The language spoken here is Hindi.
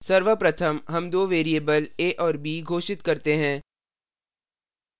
सर्वप्रथम हम दो variables a और b घोषित करते हैं